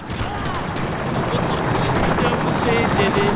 mofuta wa potso e telele